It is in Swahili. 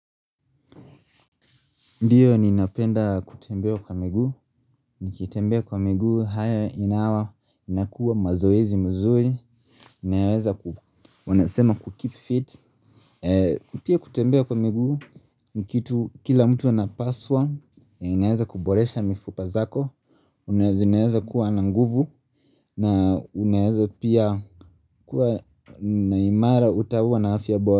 Ndiyo ninapenda kutembea kwa miguu, nikitembea kwa miguu, haya inawa, inakuwa mazoezi mzuri, inaweza kubu, wanasema kukeep fit. Pia kutembea kwa miguu, nikitu kila mtu anapaswa, inaweza kuboresha mifupa zako, zinaweza kuwa na nguvu, na unaweza pia kuwa naimara utakuwa na afya bora.